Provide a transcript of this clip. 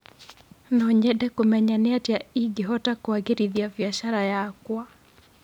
No nyende kũmenya nĩatĩa ingĩhota kũagĩrithia biacara yakwa.